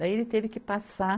Daí ele teve que passar